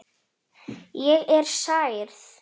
Ég er særð.